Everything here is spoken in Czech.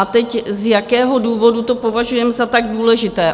A teď, z jakého důvodu to považujeme za tak důležité?